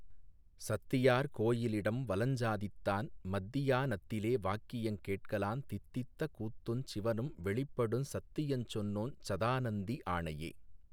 சத்தியார் கோயி லிடம்வலஞ் சாதித்தான் மத்தியா னத்திலே வாக்கியங் கேட்கலாந் தித்தித்த கூத்துஞ் சிவனும் வெளிப்படுஞ் சத்தியஞ் சொன்னோஞ் சதாநந்தி ஆணையே.